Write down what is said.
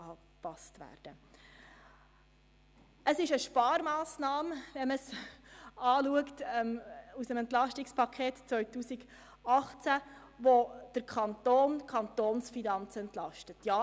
Es handelt sich um eine Sparmassnahme, wenn man dies aus Sicht des EP 18 betrachtet, da die Kantonsfinanzen entlastet werden.